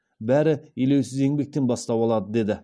бәрі елеусіз еңбектен бастау алады деді